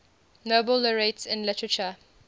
nobel laureates in literature